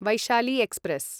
Vaishali express